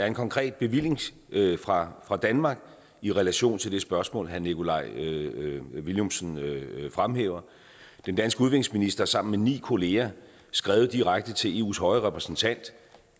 en konkret bevilling fra fra danmark i relation til det spørgsmål herre nikolaj villumsen fremhæver den danske udenrigsminister har sammen med ni kolleger skrevet direkte til eus høje repræsentant